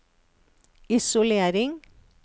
isolering